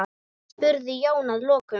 spurði Jón að lokum.